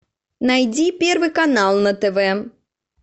найди первый канал на тв